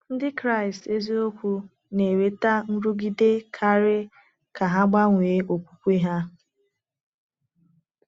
Ndị Kraịst eziokwu na-enweta nrụgide karị ka ha gbanwee okwukwe ha.